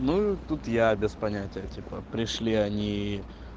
ну тут я без понятия типа пришли они